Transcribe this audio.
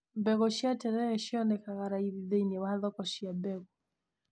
Mbegũ cia terere cionekaga raithi thĩiniĩ wa thoko cia mbegũ.